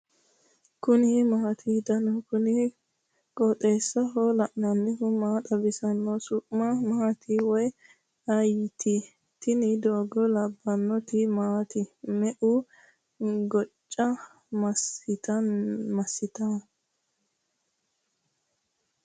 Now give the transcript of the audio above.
kuni maati ? danu kuni qooxeessaho leellannohu maa xawisanno su'mu maati woy ayeti ? tini doogo labbannoti maati me''u gocca massitannoyya